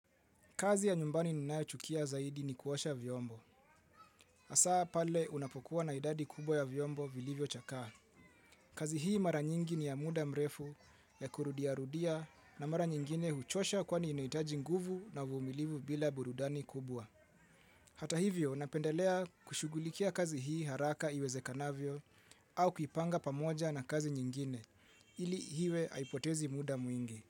Kazi ya nyumbani ninayochukia zaidi ni kuosha vyombo. Hasa pale unapokuwa na idadi kubwa ya vyombo vilivyo chakaa. Kazi hii mara nyingi ni ya muda mrefu ya kurudiarudia na mara nyingine huchosha kwani inahitaji nguvu na uvumilivu bila burudani kubwa. Hata hivyo napendelea kushugulikia kazi hii haraka iwezekanavyo au kuipanga pamoja na kazi nyingine ili hiwe haipotezi muda mwingi.